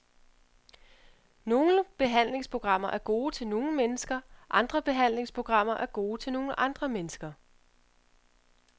Nogle behandlingsprogrammer er gode til nogle mennesker, andre behandlingsprogrammer er gode til nogle andre mennesker.